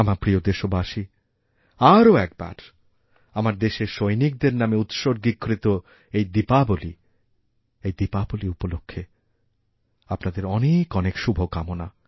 আমারপ্রিয় দেশবাসী আরও একবার দেশের সৈনিকদের নামে উৎসর্গীকৃত এই দীপাবলী এই দীপাবলীউপলক্ষে আপনাদের অনেক অনেক শুভকামনা